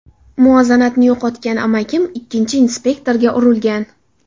Muvozanatni yo‘qotgan amakim, ikkinchi inspektorga urilgan.